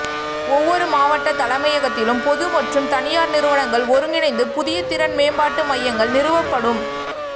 ஒவ்வொரு மாவட்ட தலைமையகத்திலும் பொது மற்றும் தனியார் நிறுவனங்கள் ஒருங்கிணைந்து புதிய திறன் மேம்பாட்டு மையங்கள் நிறுவப்படும்